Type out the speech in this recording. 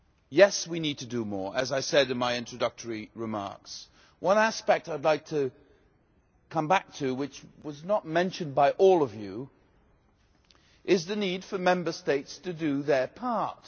Yes, we need to do more as I said in my introductory remarks, but one aspect I would like to come back to which was not mentioned by all of you is the need for Member States to do their part.